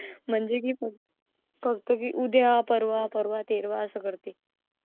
म्हणजे की फक्त की उद्या परवा परवा तेरवा असं करते.